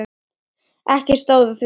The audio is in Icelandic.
Ekki stóð á því.